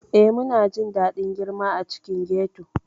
Ee, muna jin daɗin girma a cikin ghetto.